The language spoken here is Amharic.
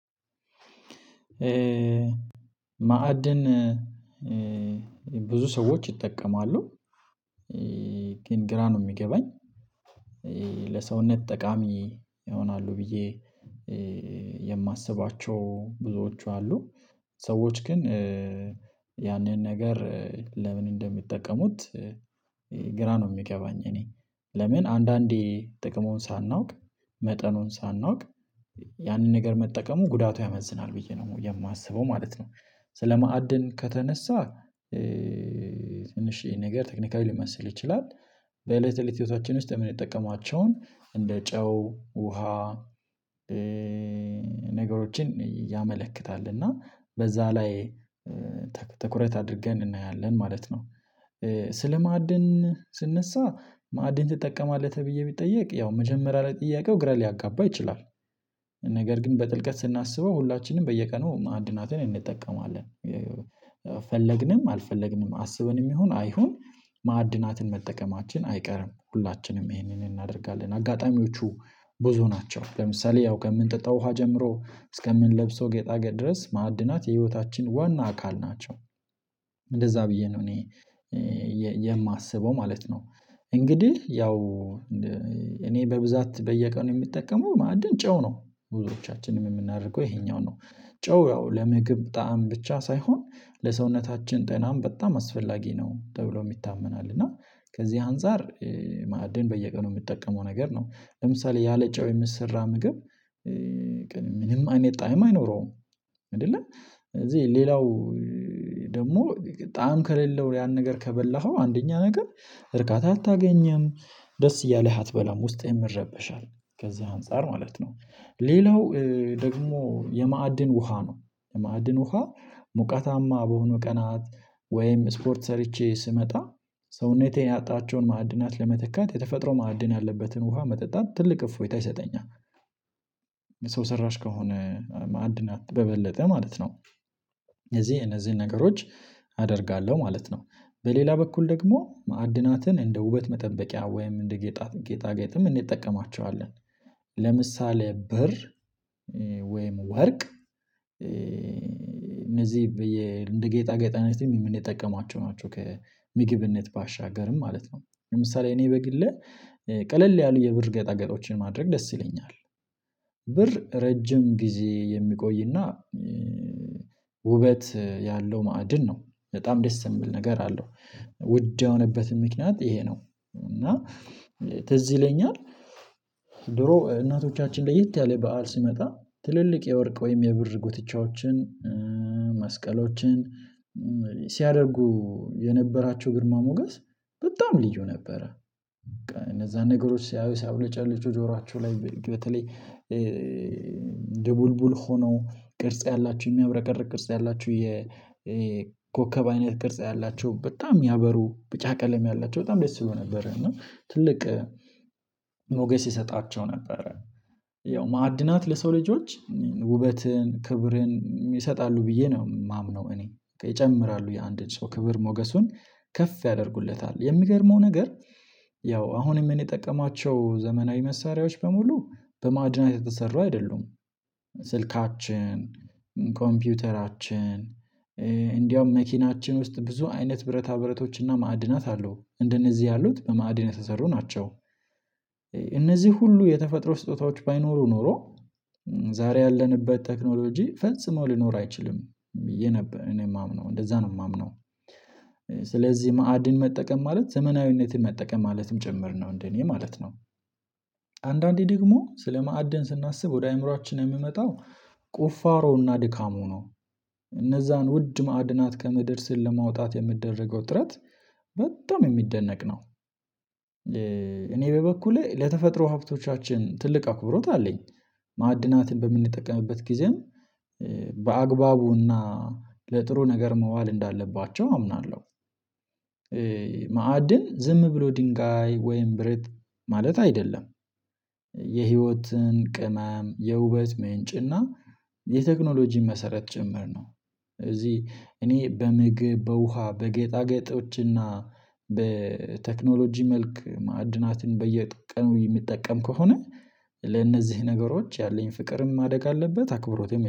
ማዕድን ብዙ ሰዎች ይጠቀማሉ። ግን ግራ ነው እሚገባኝ ለሰውነት ጠቃሚ ይሆናሉ ብዬ የማስባቸው ብዙዎቹ አሉ። ሰዎች ግን ያንን ነገር ለምን እንደሚጠቀሙት ግራ ነው እሚገባኝ። እኔ ለምን አንዳንዴ ጥቅሙን ሳናውቅ መጠኑን ሳናውቅ ያንን ነገር መጠቀሙ ጉዳቱ ያመዝናል ብዬ ነው የማስበው ማለት ነው። ስለማዕድን ከተነሳ ትንሽ ነገር ቴክኒካዊ ሊመስል ይችላል። በእለት በእለት ቤታችን ውስጥ የምንጠቀማቸውን እንደ ጨው ውሃ ነገሮችን ያመለክታል። እና በዛ ላይ ትኩረት አድርገን እናያለን ማለት ነው። ስለማዕድን ስነሳ ማዕድን ትጠቀማለህ ተብዬ ቢጠየቅ ያው መጀመሪያ ለጥያቄው ግራ ሊያጋባ ይችላል። ነገር ግን በጥልቀት ስናስበው ሁላችንም በየቀኑ ማዕድናትን እንጠቀማለን። ፈለግንም አልፈለግንም አስበንም ይሁን አይሁን ማዕድናትን መጠቀማችን አይቀርም ሁላችንም ይሄንን እናደርጋለን አጋጣሚዎቹ ብዙ ናቸው። ለምሳሌ ያው ከምንጠጣው ውሃ ጀምሮ እስከምንለብሰው ጌጣጌጥ ድረስ ማዕድናት የህይወታችን ዋና አካል ናቸው። እንደዛ ብዬ ነው እኔ የማስበው ማለት ነው። እንግዲህ ያው እኔ በብዛት በየቀኑ የምጠቀመው ማዕድን ጨው ነው። ብዙዎቻችንም የምናደርገው ይሄኛው ነው ጨው ያው ለምግብ ጣዕም ብቻ ሳይሆን ለሰውነታችን ጤናም በጣም አስፈላጊ ነው ተብሎ ይታመናል። እና ከዚህ አንፃር ማዕድን በየቀኑ የምጠቀመው ነገር ነው። ለምሳሌ ያለጨው የሚሰራ ምግብ ምንም አይነት ጣዕም አይኖረውም። አይደለ ስለዚህ ሌላው ደግሞ ጣዕም ከሌለው ያን ነገር ከበላኸው አንደኛ ነገር እርካታ አታገኝም ደስ እያለህ አትበላም ውስጥህን ይረበሻል። ከዛ አንፃር ማለት ነው ሌላው ደግሞ የማዕድን ውሃ ነው። የማዕድን ውሃ ሙቀታማ በሆነ ቀናት ወይም ስፖርት ሰርቼ ስመጣ ሰውነቴን ያጣቸውን ማዕድናት ለመትካት የተፈጥሮ ማዕድን ያለበትን ውሃ መጠጣት ትልቅ እፎይታ ይሰጠኛል። ሰው ሰራሽ ከሆነ ማዕድናት በበለጠ ማለት ነው። እዚህ እነዚህ ነገሮች አደርጋለሁ ማለት ነው። በሌላ በኩል ደግሞ ማዕድናትን እንደ ውበት መጠበቂያ ወይም እንደ ጌጣጌጥም እንጠቀማቸዋለን። ለምሳሌ ብር ወይም ወርቅ እነዚህ እንደ ጌጣ ጌጥነትም የምንጠቀማቸው ናቸው ከምግብነት ባሻገር ማለት ነው። ለምሳሌ እኔ በግሌ ቀለል ያሉ የብር ጌጣጌጦችን ማድረግ ደስ ይለኛል። ብር ረጅም ጊዜ የሚቆይና ውበት ያለው ማዕድን ነው። በጣም ደስ የሚል ነገር አለው። ውድ የሆነበትን ምክንያት ይሄ ነው እና ትዝ ይለኛል። ድሮ እናቶቻችን ለየት ያለ በዓል ሲመጣ ትልልቅ የወርቅ ወይም የብር ጉትቻዎችን መስቀሎችን ሲያደርጉ የነበራቸው ግርማ ሞገስ በጣም ልዩ ነበረ። እነዛን ነገሮች ሲያዩ ሲያብለጨልጩ ጆሯቸው ላይ በተለይ ድቡልቡል ሆነው ቅርጽ ያላችሁ የሚያብረቀርቅ ቅርጽ ያላችሁ የኮከብ አይነት ቅርጽ ያላቸው በጣም ያበሩ ቢጫ ቀለም ያላቸው በጣም ደስ ይሉ ነበር። እና ትልቅ ሞገስ ይሰጣቸው ነበረ። ያው ማዕድናት ለሰው ልጆች ውበትን ክብርን ይሰጣሉ ብዬ ነው የማምነው። እኔ ይጨምራሉ የአንድን ሰው ክብር ሞገሱን ከፍ ያደርጉለታል። የሚገርመው ነገር ያው አሁንም የምንጠቀማቸው ዘመናዊ መሳሪያዎች በሙሉ በማድናት የተሰራ አይደሉም። ስልካችን ኮምፒውተራችን እንዲያውም መኪናችን ውስጥ ብዙ አይነት ብረታ ብረቶችና ማዕድናት አሉ። እንደነዚህ ያሉት በማዕድን የተሰሩ ናቸው። እነዚህ ሁሉ የተፈጥሮ ስጦታዎች ባይኖሩ ኖሮ ዛሬ ያለንበት ቴክኖሎጂ ፈጽመው ሊኖር አይችልም ብዬ ነበር እኔ የማምነው እንደዛ ነው የማምነው። ስለዚህ ማዕድን መጠቀም ማለት ዘመናዊነትን መጠቀም ማለትም ጭምር ነው እንደኔ ማለት ነው። አንዳንዴ ደግሞ ስለማዕድን ስናስብ ወደ አእምሯችን የሚመጣው ቁፋሮውና ድካሙ ነው። እነዛን ውድ ማዕድናት ከመደርስህ ለማውጣት የሚደረገው ጥረት በጣም የሚደነቅ ነው። እኔ በበኩሌ ለተፈጥሮ ሀብቶቻችን ትልቅ አኩብሮት አለኝ። ማዕድናትን በምንጠቀምበት ጊዜም በአግባቡና ለጥሩ ነገር መዋል እንዳለባቸው አምናለሁ። ማዕድን ዝም ብሎ ድንጋይ ወይም ብረት ማለት አይደለም። የህይወትን ቅመም የውበት ምንጭና የቴክኖሎጂ መሰረት ጭምር ነው። እዚህ እኔ በምግብ በውሃ በጌጣጌጦችና በቴክኖሎጂ መልክ ማዕድናትን በየቀኑ የምጠቀም ከሆነ ለእነዚህ ነገሮች ያለኝ ፍቅርም ማደግ አለበት አክብሮት